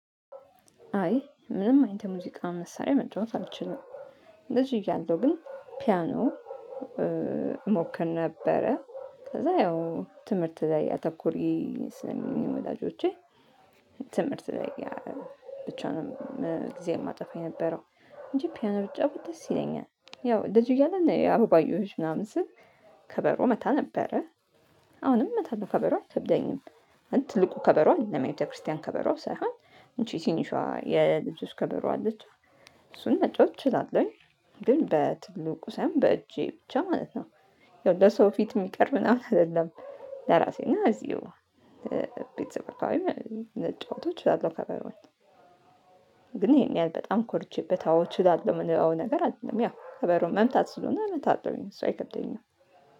አይ ምንም አይነት የሙዚቃ መሳሪያ መጫወት አልችልም። ልጅ እያለሁ ግን ፒያኖ እሞክር ነበረ ከዛ ያው ትምህርት ላይ ያተኮሪ ስለሚሉኝ ወላጆቼ። ትምህርት ላይ ብቻ ነው። ጊዜ የማጠፋ የነበረው እንጂ ፒያና ብጫዎት ደስ ይለኛል። ያው ልጅ እያለ ነው የአበባዮሽ ምናምን ስል ከበሮ እመታ ነበረ። እመታለሁ ከበሮ አይከብደኝም። ትልቁ ከበሮ አደለም የቤተክርስቲያን ከበሮ ሳይሆን እንጂ ትንሿ የልጅ ከበሮ አለች። እሱን መጫወት እችላለሁኝ። ግን በትልቁ ሳይሆን በእጄ ብቻ ማለት ነው። ለሰው ፊት የሚቀር ምናምን አይደለም። ለራሴ እና እዚሁ ቤተሰብ ነጫወቶቼ እችላለሁ ከበውኝ። ግን ይሄን ያህል በጣም ኮርቼበት አዎ እችላለሁ የምንለው አይደለም። ያው ከበሮ መምታት ስለሆነ መታተብ አይደለም እሷ አይከብደኝም።